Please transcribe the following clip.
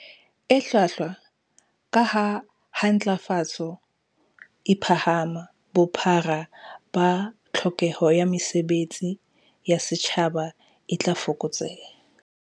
E hlwahlwa, kaha ha ntlafatso e phahama, bophara ba tlhokeho ya mesebe tsi ya setjhaba e tla fokotseha.